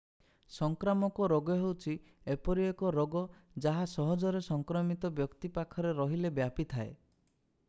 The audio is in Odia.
ସଂକ୍ରାମକ ରୋଗ ହେଉଛି ଏପରି ଏକ ରୋଗ ଯାହା ସହଜରେ ସଂକ୍ରମିତ ବ୍ୟକ୍ତି ପାଖରେ ରହିଲେ ବ୍ୟାପି ଥାଏ